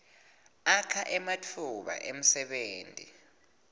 akha ematfuba emsebenti